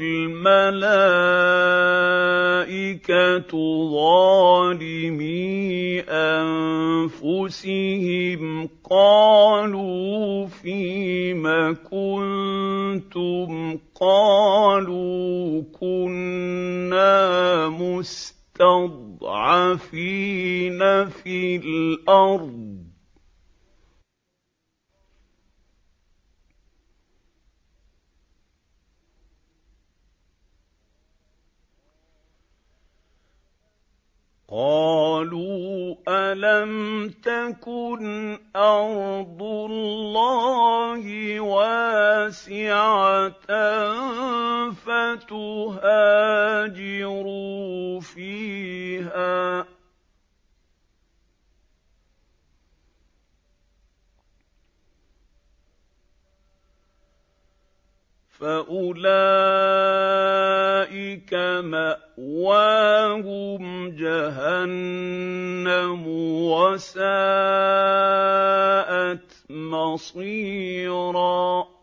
الْمَلَائِكَةُ ظَالِمِي أَنفُسِهِمْ قَالُوا فِيمَ كُنتُمْ ۖ قَالُوا كُنَّا مُسْتَضْعَفِينَ فِي الْأَرْضِ ۚ قَالُوا أَلَمْ تَكُنْ أَرْضُ اللَّهِ وَاسِعَةً فَتُهَاجِرُوا فِيهَا ۚ فَأُولَٰئِكَ مَأْوَاهُمْ جَهَنَّمُ ۖ وَسَاءَتْ مَصِيرًا